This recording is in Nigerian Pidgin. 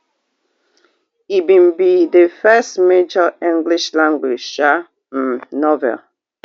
e bin be di first major english language um um novel